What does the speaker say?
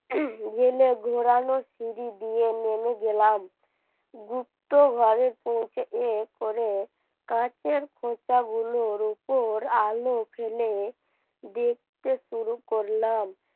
জেলে ঘোরানো সিঁড়ি দিয়ে নেমে গেলাম গুপ্ত ঘরে পৌঁছে এর পরে কাঠের চোখা গুলোর উপর আলো ফেলে দেখতে শুরু করলাম।